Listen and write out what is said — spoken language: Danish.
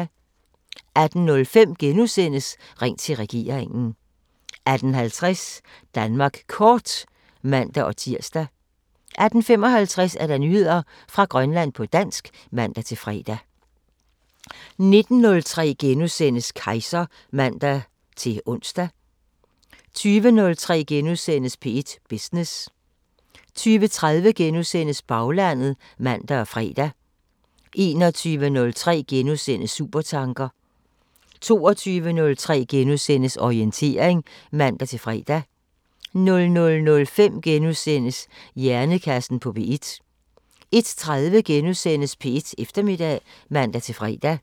18:05: Ring til regeringen * 18:50: Danmark Kort (man-tir) 18:55: Nyheder fra Grønland på dansk (man-fre) 19:03: Kejser *(man-ons) 20:03: P1 Business * 20:30: Baglandet *(man og fre) 21:03: Supertanker * 22:03: Orientering *(man-fre) 00:05: Hjernekassen på P1 * 01:03: P1 Eftermiddag *(man-fre)